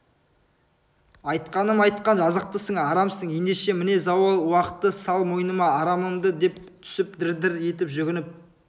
айтқаным айтқан жазықтысың арамсың ендеше міне зауал уақты сал мойныма арамымды деп түсіп дір-дір етіп жүгініп